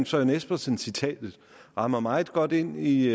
søren espersens citat rammer meget godt ind i